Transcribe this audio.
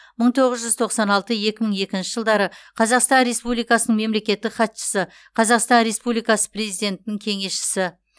мың тоғыз жүз тоқсан алты екі мың екінші жылдары қазақстан республикасының мемлекеттік хатшысы қазақстан республикасы президентінің кеңесшісі